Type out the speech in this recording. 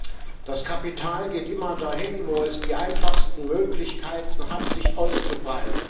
Das Kapital geht immer dahin, wo es die einfachsten Möglichkeiten hat, sich auszubreiten.